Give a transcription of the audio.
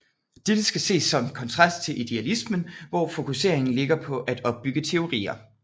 Dette skal ses som kontrast til idealismen hvor fokuseringen ligger på at opbygge teorier